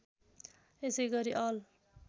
यसै गरी अल